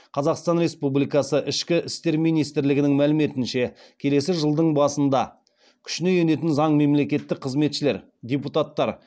қазақстан республикасы ішкі істер министрлігінің мәліметінше келесі жылдың басында күшіне енетін заң мемлекеттік қызметшілер депутаттар